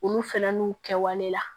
Olu fɛn n'u kɛwale la